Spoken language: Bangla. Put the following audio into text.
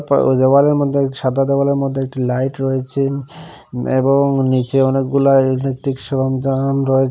পর ওই দেওয়ালের মধ্যে সাদা দেওয়ালের মধ্যে একটি লাইট রয়েচেন এবং নীচে অনেকগুলা ইলেকট্রিক সরঞ্জাম রয়েচে।